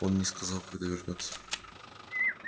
он не сказал когда вернётся